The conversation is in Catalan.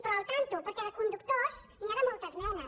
però compte perquè de conductors n’hi ha de moltes menes